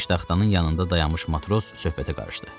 Piştaxtanın yanında dayanmış matros söhbətə qarışdı.